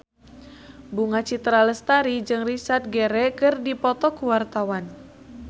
Bunga Citra Lestari jeung Richard Gere keur dipoto ku wartawan